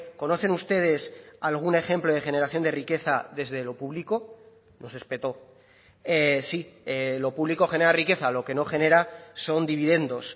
conocen ustedes algún ejemplo de generación de riqueza desde lo público nos espetó sí lo público genera riqueza lo que no genera son dividendos